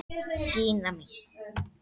Gína mín!